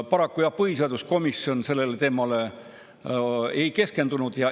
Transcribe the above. Paraku, jah, põhiseaduskomisjon sellele teemale ei keskendunud.